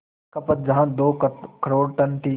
खपत जहां दो करोड़ टन थी